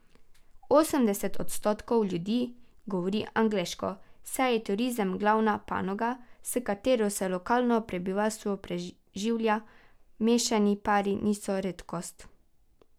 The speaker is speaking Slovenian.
Osemdeset odstotkov ljudi govori angleško, saj je turizem glavna panoga, s katero se lokalno prebivalstvo preživlja, mešani pari niso redkost.